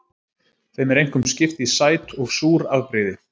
Þeim er einkum skipt í sæt og súr afbrigði.